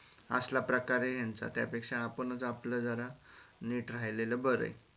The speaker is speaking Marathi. असला प्रकार हे यांचा म त्यापेक्षा आपणच आपला जरा नीट रायालेल बरं हे.